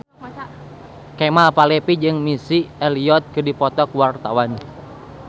Kemal Palevi jeung Missy Elliott keur dipoto ku wartawan